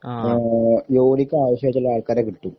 ഏഹ് ജോലിക്കാവിശമായിട്ടുള്ള ആൾക്കാരെകിട്ടും